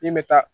Min bɛ taa